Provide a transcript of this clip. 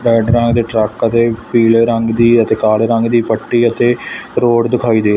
ਦੇ ਟਰੱਕ ਤੇ ਪੀਲੇ ਰੰਗ ਦੀ ਅਤੇ ਕਾਲੀ ਰੰਗ ਦੀ ਪੱਟੀ ਅਤੇ ਰੋਡ ਦਿਖਾਈ ਦੇ--